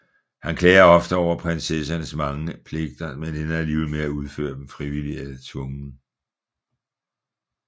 Han klager ofte over prinsessernes mange pligter men ender alligevel med at udføre dem frivilligt eller tvungent